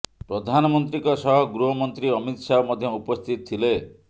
ପ୍ରଧାନମନ୍ତ୍ରୀଙ୍କ ସହ ଗୃହ ମନ୍ତ୍ରୀ ଅମିତ ଶାହ ମଧ୍ୟ ଉପସ୍ଥିତ ଥିଲେ